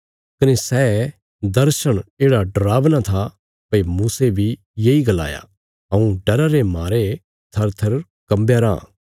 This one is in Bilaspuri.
कने सै दर्शण येढ़ा डरावना था भई मूसे बी येई गलाया हऊँ डरा रे मारे थरथर कम्बया राँ